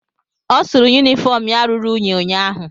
Ọ sụrụ yunifọm ya ruru unyi ụnyaahụ.